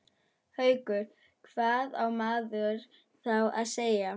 Haukur: Hvað á maður þá að segja?